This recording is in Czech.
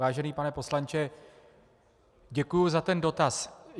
Vážený pane poslanče, děkuji za ten dotaz.